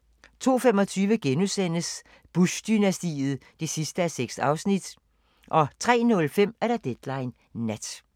02:25: Bush-dynastiet (6:6)* 03:05: Deadline Nat